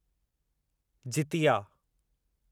Jitiya